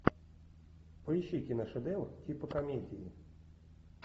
поищи киношедевр типа комедии